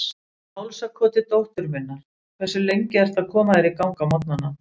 Í hálsakoti dóttur minnar Hversu lengi ertu að koma þér í gang á morgnanna?